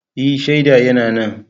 E, shaida yana nan.